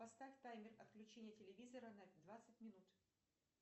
поставь таймер отключения телевизора на двадцать минут